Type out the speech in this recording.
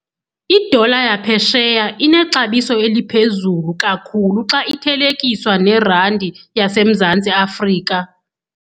Idola yaphesheya inexabiso eliphezulu kakhulu xa ithelekiswa nerandi yaseMzantsi Afrika.